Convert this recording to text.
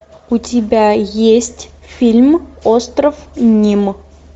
у тебя есть фильм остров ним